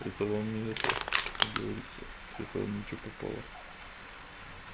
этого вам не это как говорится это вам не что попало